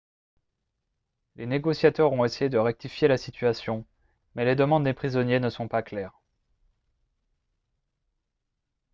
les négociateurs ont essayé de rectifier la situation mais les demandes des prisonniers ne sont pas claires